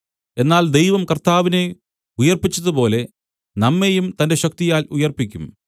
എന്നാൽ ദൈവം കർത്താവിനെ ഉയിർപ്പിച്ചതുപോലെ നമ്മെയും തന്റെ ശക്തിയാൽ ഉയിർപ്പിക്കും